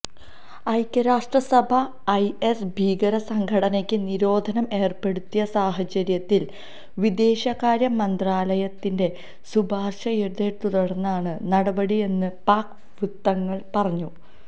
ഐക്യരാഷ്ട്രസഭ ഐഎസ് ഭീകര സംഘടനക്ക് നിരോധനം ഏര്പ്പെടുത്തിയ സാഹചര്യത്തില് വിദേശകാര്യ മന്ത്രാലയത്തിന്റെ ശുപാര്ശയെത്തുടര്ന്നാണ് നടപടിയെന്ന് പാക് വൃത്തങ്ങള് പറഞ്ഞു